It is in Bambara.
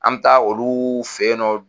An bɛ taa olu fɛ nɔ.